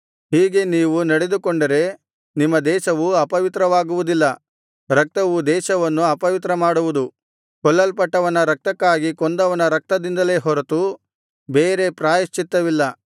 ನೀವು ಹೀಗೆ ನಡೆದುಕೊಂಡರೆ ನಿಮ್ಮ ದೇಶವು ಅಪವಿತ್ರವಾಗುವುದಿಲ್ಲ ರಕ್ತವು ದೇಶವನ್ನು ಅಪವಿತ್ರ ಮಾಡುವುದು ಕೊಲ್ಲಲ್ಪಟ್ಟವನ ರಕ್ತಕ್ಕಾಗಿ ಕೊಂದವನ ರಕ್ತದಿಂದಲೇ ಹೊರತು ಬೇರೆ ಪ್ರಾಯಶ್ಚಿತ್ತವಿಲ್ಲ